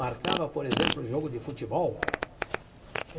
Marcava, por exemplo, o jogo de futebol.